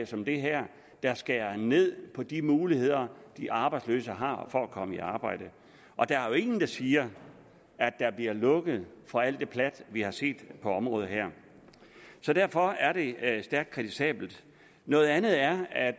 som det her der skærer ned på de muligheder de arbejdsløse har for at komme i arbejde og der er jo ingen der siger at der bliver lukket for alt det plat vi har set på området her så derfor er det stærkt kritisabelt noget andet er at